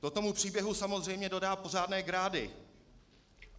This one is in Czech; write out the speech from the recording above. To tomu příběhu samozřejmě dodá pořádné grády.